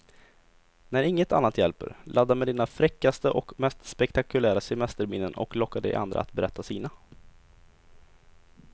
När inget annat hjälper, ladda med dina fräckaste och mest spektakulära semesterminnen och locka de andra att berätta sina.